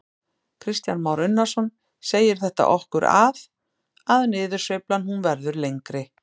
Kristján Már Unnarsson: Segir þetta okkur að, að niðursveiflan hún verður lengri?